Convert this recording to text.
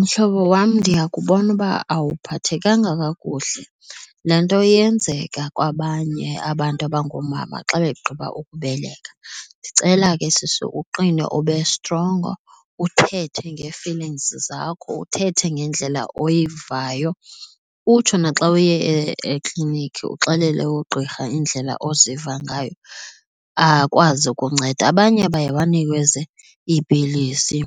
Mhlobo wam ndiyakubona uba awuphathenga kakuhle. Laa nto yenzeka kwabanye abantu abangoomama xa begqiba ukubeleka. Ndicela ke sisi uqine ube strongo uthethe ngee-feelings, zakho uthethe ngendlela oyivayo utsho naxa uye ekliniki uxelele ugqirha indlela oziva ngayo akwazi ukunceda. Abanye baye banikezwe iipilisi